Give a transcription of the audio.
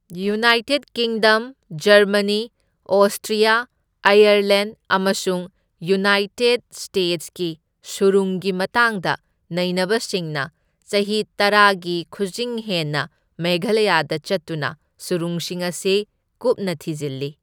United Kingdom, Germany, Austria, Ireland ꯑꯃꯁꯨꯡ United ꯁ꯭ꯇꯦꯠꯁꯀꯤ ꯁꯨꯔꯨꯡꯒꯤ ꯃꯇꯥꯡꯗ ꯅꯩꯅꯕꯁꯤꯡꯅ ꯆꯍꯤ ꯇꯔꯥꯒꯤ ꯈꯨꯖꯤꯡ ꯍꯦꯟꯅ ꯃꯦꯘꯥꯂꯌꯥꯗ ꯆꯠꯇꯨꯅ ꯁꯨꯔꯨꯡꯁꯤꯡ ꯑꯁꯤ ꯀꯨꯞꯅ ꯊꯤꯖꯤꯜꯂꯤ꯫